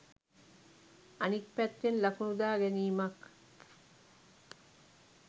අනික් පැත්තෙන් ලකුණු දා ගැනීමක්